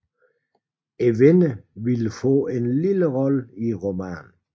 Vinderen ville få en lille rolle i romanen